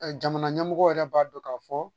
Jamana ɲɛmɔgɔ yɛrɛ b'a dɔn k'a fɔ